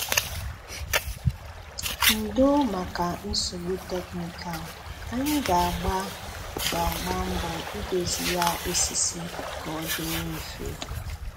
Ǹdọ́ maka nsogbù tekníkàl̄. Ányị gà–àgbà gà–àgbà mbọ̀ ị̀dòzí ya òsìsì ka ọ dịrị̀ mfe